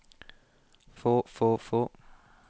få få få